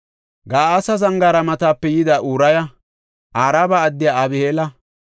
Ga7aasa Zangaara matape yida Uraya, Araba addiya Abi7eela,